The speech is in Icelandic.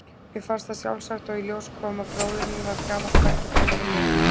Mér fannst það sjálfsagt og í ljós kom að bróðirinn var gamall bekkjarbróðir minn úr